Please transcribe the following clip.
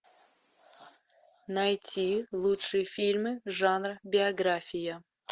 найти лучшие фильмы жанра биография